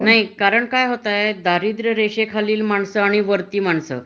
नाही कारण काय होतय दारिद्र रेषे खालील मानस आणि वरती मानस